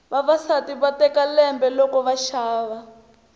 vavasati va teka lembe loko va xava